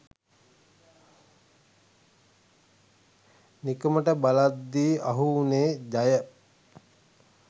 නිකමට බලද්දි අහු උනේ ජය